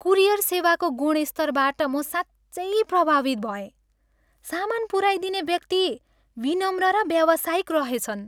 Courier सेवाको गुणस्तरबाट म साँच्चै प्रभावित भएँ। सामान पुऱ्याइदिने व्यक्ति विनम्र र व्यावसायिक रहेछन्।